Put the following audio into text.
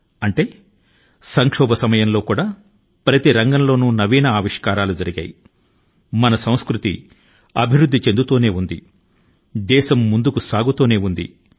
దీని అర్థం క్లిష్ట కాలాల లో కూడా ప్రతి రంగం లో సృష్టి ప్రక్రియ నిరాకంటం గా సాగి మన సంస్కృతి ని సుసంపన్నం చేసి మన దేశం యొక్క పురోగతి కి దారితీసింది